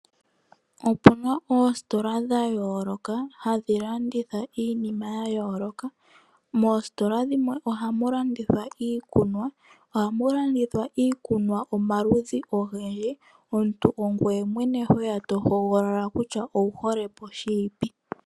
Opuna oostola dha yooloka, hadhi landitha iinima ya yooloka. Moostola dhimwe ohamu landithwa iikuna. Ohamu landithwa iikunwa omaludhi ogendji. Omuntu ongoye mwene, ho hogolola kutya owuhole po shini.